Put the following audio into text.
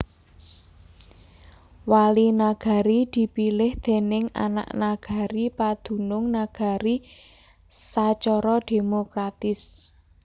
Wali Nagari dipilih déning anak nagari padunung nagari sacara demokratis